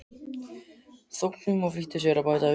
þóknun og flýtti sér að bæta við